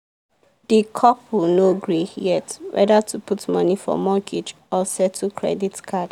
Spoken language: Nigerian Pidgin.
the couple no gree yet whether to put money for mortgage or settle credit card.